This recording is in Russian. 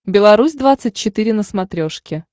беларусь двадцать четыре на смотрешке